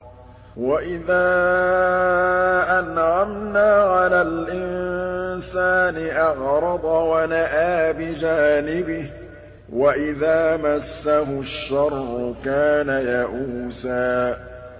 وَإِذَا أَنْعَمْنَا عَلَى الْإِنسَانِ أَعْرَضَ وَنَأَىٰ بِجَانِبِهِ ۖ وَإِذَا مَسَّهُ الشَّرُّ كَانَ يَئُوسًا